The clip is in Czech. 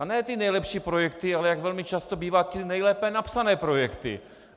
A ne ty nejlepší projekty, ale jak velmi často bývá, ty nejlépe napsané projekty.